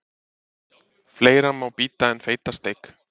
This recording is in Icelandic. Fleira má bíta en feita steik.